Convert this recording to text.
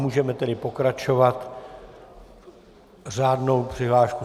Můžeme tedy pokračovat řádnou přihláškou.